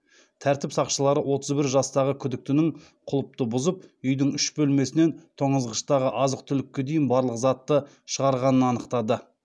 тәртіп сақшылары отыз бір жастағы күдіктінің құлыпты бұзып үйдің үш бөлмесінен тоңазытқыштағы азық түлікке дейін барлық затты шығарғанын анықтады